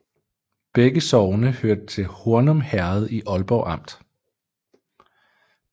Begge sogne hørte til Hornum Herred i Ålborg Amt